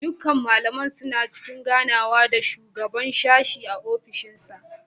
Dukkan malaman suna cikin ganawa da shugaban sashen a ofishinsa.